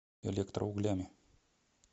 электроуглями